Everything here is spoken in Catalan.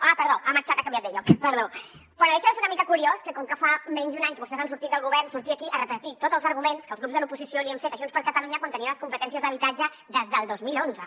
ah perdó ha canviat de lloc perdó però no deixa de ser una mica curiós que com que fa menys d’un any que vostès han sortit del govern surti aquí a repetir tots els arguments que els grups de l’oposició li hem fet a junts per catalunya quan tenia les competències d’habitatge des del dos mil onze